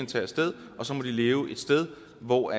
tage af sted og så må de leve et sted hvor